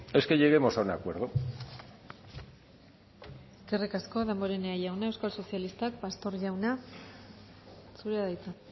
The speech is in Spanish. es que lleguemos a un acuerdo eskerrik asko damborenea jauna euskal sozialistak pastor jauna zurea da hitza